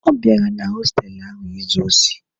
Ọ bịara na hostelụ ahụ izu osi.